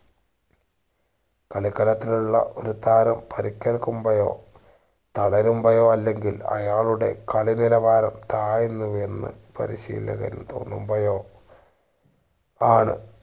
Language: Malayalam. കളിക്കളത്തിലുള്ള ഒരു താരം പരിക്കേൽക്കുമ്പോഴോ തളരുമ്പോഴോ അല്ലെങ്കിൽ അയാളുടെ കളി നിലവാരം താഴ്ന്നു എന്ന് പരിശീലകന് തോന്നുമ്പഴോ ആണ്